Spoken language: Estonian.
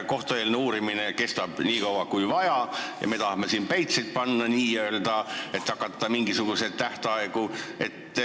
Kohtueelne uurimine kestab nii kaua, kui vaja, aga meie tahame siin n-ö päitseid pähe panna, hakata mingisuguseid tähtaegu kehtestama.